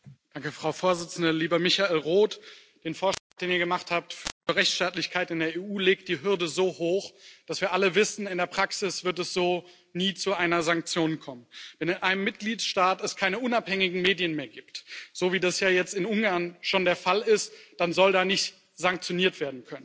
Frau Präsidentin, lieber Michael Roth! Der Vorschlag, den ihr zu Rechtsstaatlichkeit in der EU gemacht habt, legt die Hürde so hoch, dass wir alle wissen, in der Praxis wird es so nie zu einer Sanktion kommen. Wenn es in einem Mitgliedstaat keine unabhängigen Medien mehr gibt, so wie das ja jetzt in Ungarn schon der Fall ist, dann soll da nicht sanktioniert werden können.